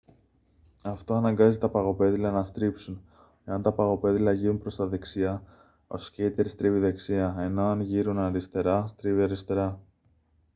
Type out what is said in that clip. αυτό αναγκάζει τα παγοπέδιλα να στρίψουν εάν τα παγοπέδιλα γείρουν προς τα δεξιά ο σκείτερ στρίβει δεξιά ενώ εάν γείρουν αριστερά στρίβει αριστερά